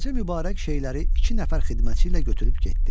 Xacə Mübarək şeyləri iki nəfər xidmətçi ilə götürüb getdi.